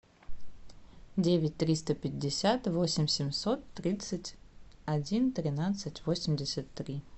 девять триста пятьдесят восемь семьсот тридцать один тринадцать восемьдесят три